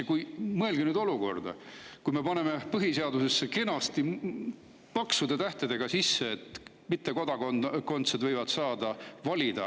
Aga mõelge nüüd seda: me paneme põhiseadusesse kenasti paksude tähtedega sisse, et ka mittekodakondsed võivad saada valida.